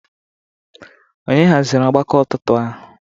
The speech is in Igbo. Ònye haziri ọgbakọ ụtụtụ ahụ?